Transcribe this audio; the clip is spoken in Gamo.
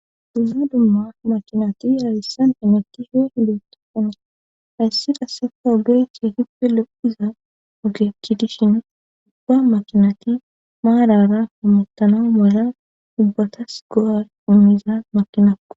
dumma dumma makinati harissan enoti ho hilotoona hayssi qassefa ogeechia hippe lo7uza ogechi dishin ubba makinati maarara humuttanau mala dubbatas go7a umiza makinakko